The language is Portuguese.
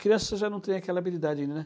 Crianças já não têm aquela habilidade ainda, né?